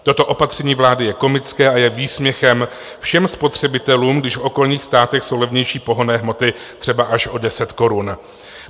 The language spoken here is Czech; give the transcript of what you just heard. Toto opatření vlády je komické a je výsměchem všem spotřebitelům, když v okolních státech jsou levnější pohonné hmoty třeba až o 10 korun.